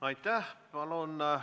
Aitäh!